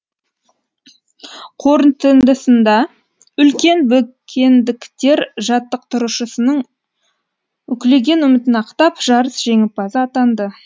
қорытындысында үлкен бөкендіктер жаттықтырушысының үкілеген үмітін ақтап жарыс жеңімпазы атанды